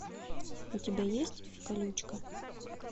у тебя есть колючка